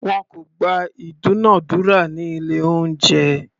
Wọn kò gba ìdúnadúrà ní ilé oúnjẹ.